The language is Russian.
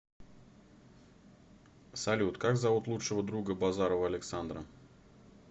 салют как зовут лучшего друга базарова александра